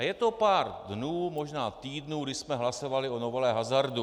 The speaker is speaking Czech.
A je to pár dnů, možná týdnů, kdy jsme hlasovali o novele hazardu.